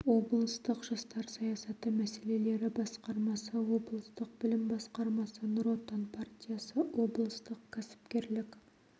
облыстық жастар саясаты мәселелері басқармасы облыстық білім басқармасы нұр отан партиясы облыстық кәсіпкерлік